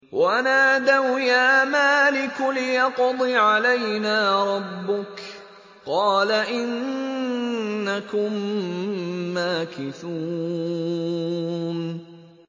وَنَادَوْا يَا مَالِكُ لِيَقْضِ عَلَيْنَا رَبُّكَ ۖ قَالَ إِنَّكُم مَّاكِثُونَ